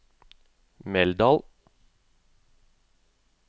Meldal